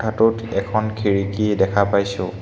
ফটোত এখন খিৰিকী দেখা পাইছোঁ।